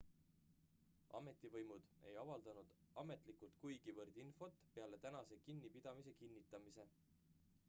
ametivõimud ei avaldanud ametlikult kuigivõrd infot peale tänase kinnipidamise kinnitamise